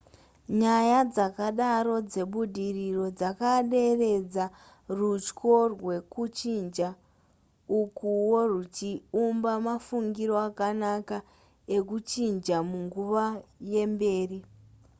nyaya dzakadaro dzebudiriro dzakaderedza rutyo rwekuchinja ukuwo rwuchiumba mafungiro akanaka ekuchinja munguva yemberi